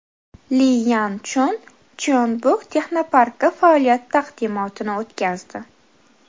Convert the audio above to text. Li Yan Chun Jeonbuk texnoparki faoliyati taqdimotini o‘tkazdi.